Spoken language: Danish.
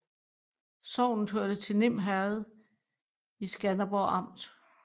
Sognet hørte til Nim Herred i Skanderborg Amt